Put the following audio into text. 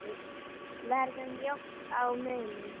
Verður mjótt á munum?